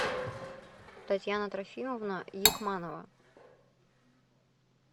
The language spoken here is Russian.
татьяна трофимовна якманова